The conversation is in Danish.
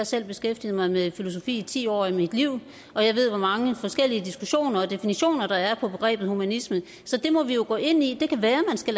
selv beskæftiget mig med filosofi i ti år af mit liv og jeg ved hvor mange forskellige diskussioner og definitioner der er på begrebet humanisme så det må vi jo gå ind i det kan være man skal